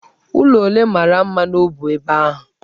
Ụlọ ole mara mma nọbu ebe ahụ?